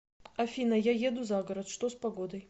афина я еду за город что с погодой